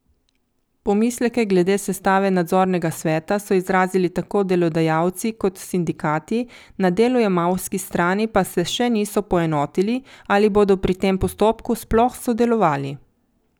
Pomisleke glede sestave nadzornega sveta so izrazili tako delodajalci kot sindikati, na delojemalski strani pa se še niso poenotili, ali bodo pri tem postopku sploh sodelovali.